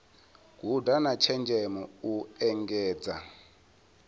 guda na tshenzhemo u engedza